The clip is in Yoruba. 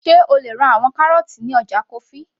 sé o lè ra àwọn kárọ́ọ́tì ní ọjà kofi